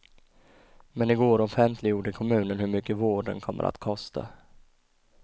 Men i går offentliggjorde kommunen hur mycket vården kommer att kosta.